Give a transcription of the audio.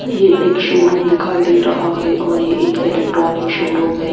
ये एक शोरूम दिखाई दे रहा है और ये एक इलेक्ट्रॉनिक शोरूम है।